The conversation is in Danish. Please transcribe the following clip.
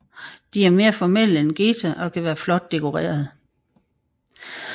De er mere formelle end geta og kan være flot dekoreret